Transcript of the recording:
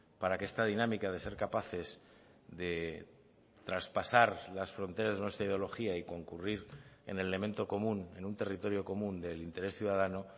para que esta dinámica de ser capaces de traspasar las fronteras de nuestra ideología y concurrir en elemento común en un territorio común del interés ciudadano